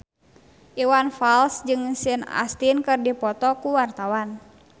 Iwan Fals jeung Sean Astin keur dipoto ku wartawan